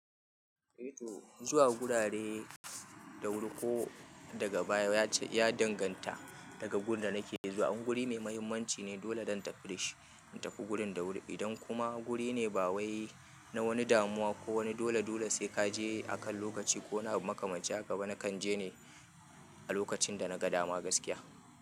Zuwa gurare da wuri ko daga baya ya ce ya danganta daga gurin da nake zuwa. In guri mai mahimmanci ne dole dan tafiɗi shi in tafi gurin da wuri. Idan kuma guri ne bawai na wani damuwa ko wani dole dole sai kaje akan lokaci ko na makamaci haka ba na kan je ne a lokacin da na ga dama gaskiya.